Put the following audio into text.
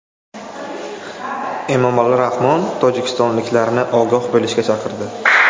Emomali Rahmon tojikistonliklarni ogoh bo‘lishga chaqirdi.